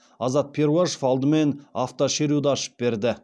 азат перуашев алдымен автошеруді ашып берді